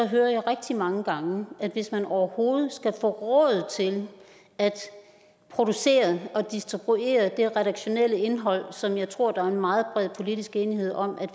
hører jeg rigtig mange gange at hvis man overhovedet skal få råd til at producere og distribuere det redaktionelle indhold som jeg tror der er meget bred politisk enighed om